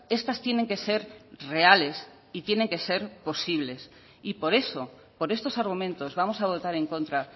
estas tienen que ser reales y tienen que ser posibles y por eso por estos argumentos vamos a votar en contra